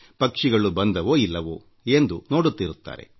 ಪಕ್ಷಿಗಳು ಬಂದವೋ ಇಲ್ಲವೋ ಎಂದು ನೋಡುತ್ತಿರುತ್ತಾರೆ